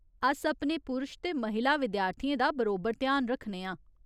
अस अपने पुरश ते महिला विद्यार्थियें दा बरोबर ध्यान रक्खने आं।